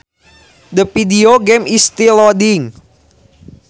The video game is still loading